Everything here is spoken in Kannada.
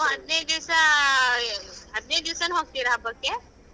ನೀವು ಹದಿನೈದು ದಿವ್ಸ ಹದಿನೈದು ದಿವ್ಸನು ಹೋಗ್ತೀರಾ ಹಬ್ಬಕ್ಕೆ.